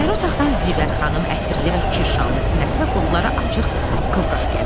İçəri otaqdan Zivər xanım ətirli və kirşanlı sinəsi və qolları açıq qıvraq gəlir.